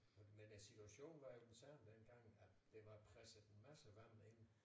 Men øh situationen var jo den samme dengang at der var presset en masse vand ind